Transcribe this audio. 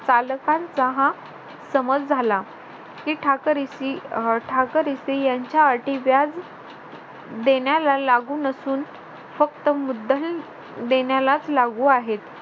पालकांचा हा समज झाला की ठाकरसी अं ठाकरसी यांच्या अटी व्याज देण्याला लागू नसून फक्त मुद्दल देण्यालाच लागू आहेत